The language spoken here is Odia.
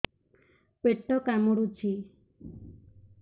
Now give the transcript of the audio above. ପେଟ କାମୁଡୁଛି